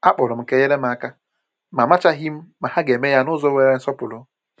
A kpọrọ m ka e nyere m aka, ma amachaghị m ma ha ga-eme ya n’ụzọ nwere nsọpụrụ